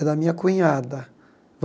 É da minha cunhada.